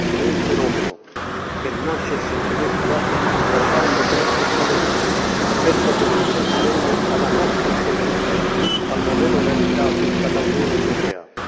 È un fenomeno che nasce e si sviluppa guardando con apprezzamento spesso con ammirazione alla nostra esperienza, al modello realizzato dall'Unione europea.